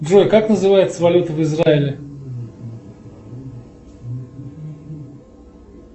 джой как называется валюта в израиле